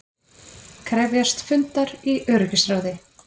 Krefjast fundar í öryggisráði